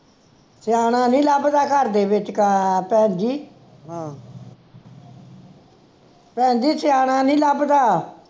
ਸਿਆਣਾ ਨੀ ਲਭਦਾ ਘਰ ਦੇ ਵਿਚਕਾਰ ਭੈਣਜੀ ਭੈਣਜੀ ਸਿਆਣਾ ਨਹੀਂ ਲਭਦਾ